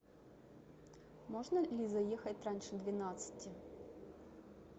можно ли заехать раньше двенадцати